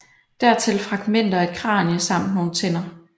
Dertil fragmenter af et kranie samt nogle tænder